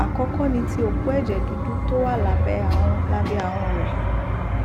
àkọkọ ni ti òpó ẹjẹ dúdú tó wà lábẹ ahọn lábẹ ahọn rẹ